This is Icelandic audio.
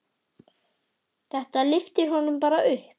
Þetta lyfti honum bara upp.